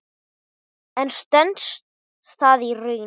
En stenst það í raun?